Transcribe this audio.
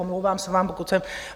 Omlouvám se vám, pokud jsem...